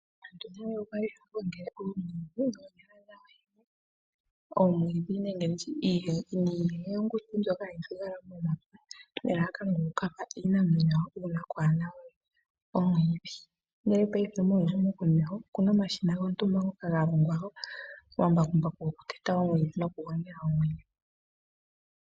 Aantu nale okwali haya gongele omwiidhi noonyala dhawo yene, omwiidhi niihenguti mbyoka hayi thigala momapya nelalakano lyoku ka pa iinamwenyo uuna kaakuna we omwiidhi, ndele muuyuni wopaife okuna omashina gontumba ngoka ga longwa, omambakumbaku goku teta noku gongela omwiidhi.